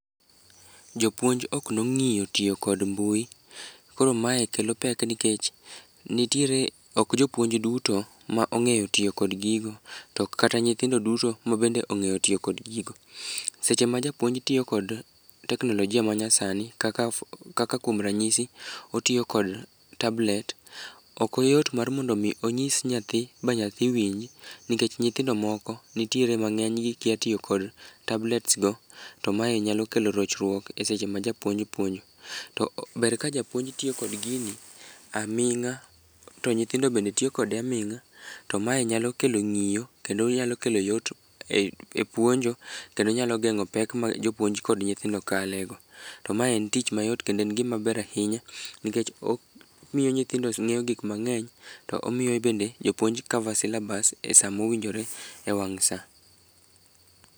Jopuonj ok nong'iyo tiyo kod mbui, koro mae kelo pek nikech nitiere, ok jopuonj duto ma ong'eyo tiyo kod gigo to kata nyithindo duto mabende ong'eyo tiyo kod gigo. Seche ma japuonj tiyo kod teknolojia manyasani kaka kuom ranyisi, otiyo kod tablet, okoyot mar mondo omi onyis nyathi ba nyathi winj, nikech nyithindo moko nitiere mang'enygi kia tiyo kod tablets go to mae nyalo kelo rochruok e seche ma japuonj puonjo. To ber ka japuonj tiyo kod gini aming'a to nyithindo bende tiyo kode aming'a to mae nyalo kelo ng'iyo kendo onyalo kelo yot e puonjo kendo onyalo geng'o pek ma jopuonj kod nyithindo kalego. To ma en tich mayot kendo en gimaber ahinya nikech omiyo nyithindo ng'eyo gik mang'eny, to omiyo bende jopuonj cover syllabus e sama owinjre e wang' sa.